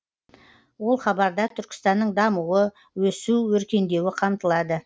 ол хабарда түркістанның дамуы өсу өркендеуі қамтылады